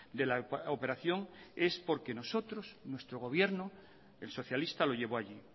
de la operación es porque nosotros nuestro gobierno el socialista lo llevó allí